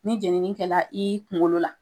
Ni jeniini kɛra i kunkolo la